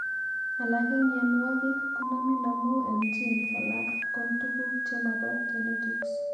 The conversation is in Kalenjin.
Alak en mionwokikkonamin amun en genes alan kon tuguk chemo po genetics.